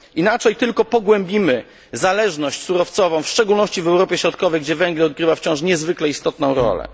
Inaczej tylko pogłębimy zależność surowcową, w szczególności w Europie Środkowej, gdzie węgiel odgrywa wciąż niezwykle istotną rolę.